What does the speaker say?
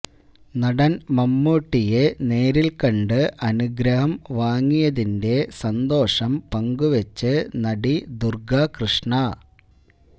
നടന് മമ്മൂട്ടിയെ നേരില്ക്കണ്ട് അനുഗ്രഹം വാങ്ങിയതിന്റെ സന്തോഷം പങ്കുവച്ച് നടി ദുര്ഗ കൃഷ്ണ